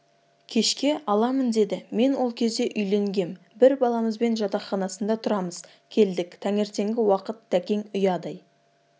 кешке аламын деді мен ол кезде үйленгем бір баламызбен жатақханасында тұрамыз келдік таңертеңгі уақыт тәкең ұядай